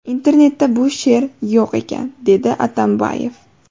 Internetda bu she’r yo‘q ekan”, dedi Atambayev.